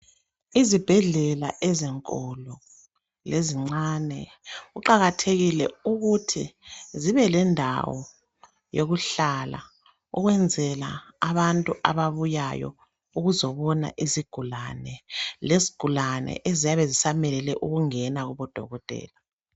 Izibhedlela ezinkulu lezincane kuqakathekile ukuthi zibe lendawo yokuhlala ukwenzela abantu ababuyayo ukuzobona izigulani lezigulani eziyabe zisamelele ukungena kubodokotela.